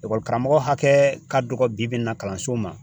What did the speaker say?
karamɔgɔ hakɛ ka dɔgɔ bi bi in na kalanso ma.